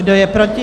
Kdo je proti?